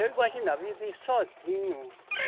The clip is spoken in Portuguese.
Eu imaginava viver sozinho.